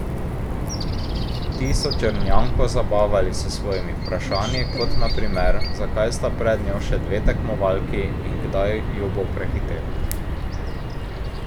Ti so Črnjanko zabavali s svojimi vprašanji, kot na primer, zakaj sta pred njo še dve tekmovalki in kdaj ju bo prehitela.